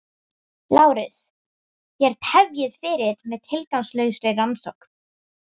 LÁRUS: Þér tefjið fyrir með tilgangslausri rannsókn.